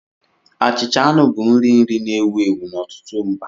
Achịcha anụ bụ nrì nri na-ewu ewu n'ọtụtụ mba